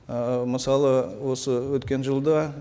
ы мысалы осы өткен жылда